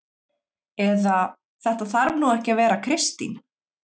Eða: Þetta þarf nú ekki að vera Kristín